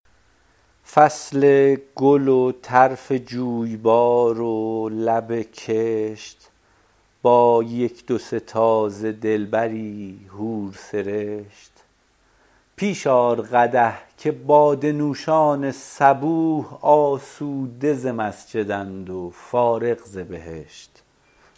فصل گل و طرف جویبار و لب کشت با یک دو سه تازه دلبری حورسرشت پیش آر قدح که باده نوشان صبوح آسوده ز مسجداند و فارغ ز بهشت